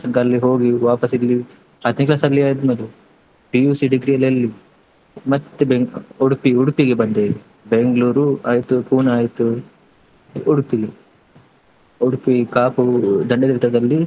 ತನ್ಕ ಅಲ್ಲಿ ಹೋಗಿ ವಾಪಸ್ ಇಲ್ಲಿ ಹತ್ತನೇ class ಆಲ್ಲಿ ಆಯ್ತು ನನ್ನದು PUC degree ಎಲ್ಲಾ ಎಲ್ಲಿ? ಮತ್ತೆ ಬೆಂ~ Udupi, Udupi ಗೆ ಬಂದೆ Bangalore ಆಯ್ತು Pune ಆಯ್ತು Udupi ಲ್ಲಿ Udupi, Kapu, Dandathirtha ದಲ್ಲಿ.